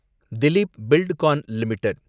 Dilip Buildcon limited